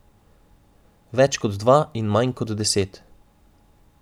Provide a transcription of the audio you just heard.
Več kot dva in manj kot deset.